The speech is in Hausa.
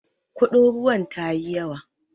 Kudin ruwan tayi yawa.